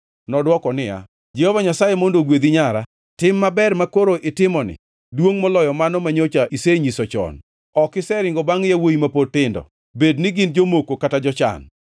Nodwoko niya, “Jehova Nyasaye mondo ogwedhi nyara. Tim maber makoro itimoni duongʼ moloyo mano manyocha isenyiso chon: Ok iseringo bangʼ yawuowi ma pod tindo, bed ni gin jomoko kata jochan.